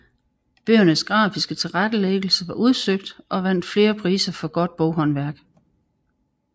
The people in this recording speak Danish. Bøgernes grafiske tilrettelæggelse var udsøgt og vandt flere priser for godt boghåndværk